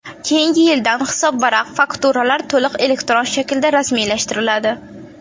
Keyingi yildan hisobvaraq-fakturalar to‘liq elektron shaklda rasmiylashtiriladi.